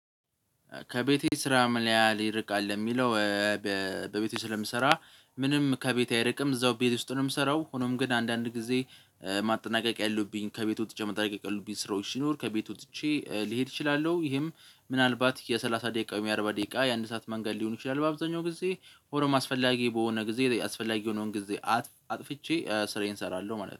ከቤቴ ስራ፣ ምን ያህል ይርቃል ለሚለው? በቤቴ ስለምሰራ ምንም ከቤቴ አይርቅም እዛው ቤት ውስጥ ነው የምሰራው። ሆኖም ግን አንዳንድ ጊዜ ማጠናቀቂያ ያሉብኝ ከቤቱ ወጥቼ መጠናቀቂያ ያለብኝ ስራዎች ሲኖር ከቤቱ ትቼ ልሄድ እችላለሁ። ይህም ምናልባት የሠላሳ ደቂቃው የአርባ ደቂቃ የአንድ ሰዓት መንገድ ሊሆን ይችላል። በአብዛኛው ጊዜ ወርም አስፈላጊ በሆነ ጊዜ አስፈላጊ የሆነውን ጊዜ አጥፍቼ ስራዬን እሰራለሁ ማለት ነው